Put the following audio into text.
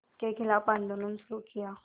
के ख़िलाफ़ आंदोलन शुरू किया